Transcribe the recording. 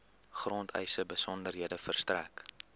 grondeise besonderhede verstrek